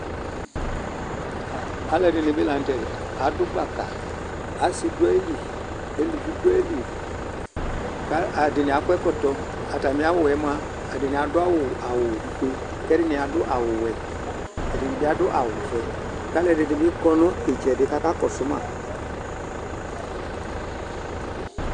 Alʋ ɛdini bi la nʋ tɛdiɛ Adʋ gbaka, asi dʋ ayili, eluvi dʋ ayili kʋ ɛdini akɔ ɛkɔtɔ Atami awʋ yɛ moa, ɛdini adʋ awʋ, awʋ fue kʋ ɛdini adʋ awʋ wɛ, ɛdini bi adʋ awʋ vɛ Alʋ ɛdini bi kɔ nʋ itsɛdi kakakɔsʋ ma